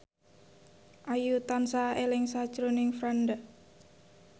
Ayu tansah eling sakjroning Franda